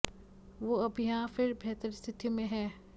वो अब वहां फिर बेहतर स्थितियों में हैं